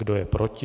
Kdo je proti?